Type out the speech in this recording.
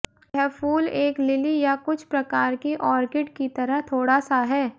यह फूल एक लिली या कुछ प्रकार की ऑर्किड की तरह थोड़ा सा है